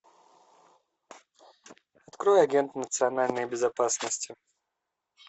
открой агент национальной безопасности